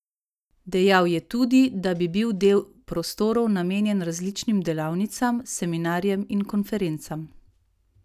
Dejal je tudi, da bi bil del prostorov namenjen različnim delavnicam, seminarjem in konferencam.